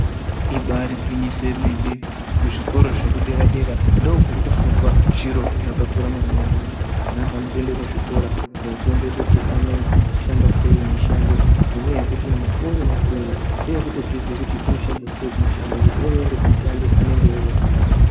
Ibari gwinyiso yemene kuzvikoro zvekudera dera ndokuri kufundwa zviro zvakakura maningi ana anotoende kuzvikora kofunde kuti anoshanda sei mushando nenyaya yekuti mukuwo uri kuuya ndewekutodzidze kuti unoshandwa sei mushando ooende kumushando anenge eitoziya.